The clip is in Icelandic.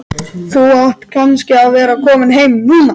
Þú átt kannski að vera kominn heim núna.